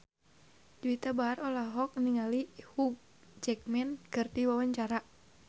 Juwita Bahar olohok ningali Hugh Jackman keur diwawancara